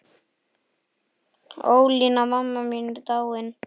Ólína amma mín er dáin.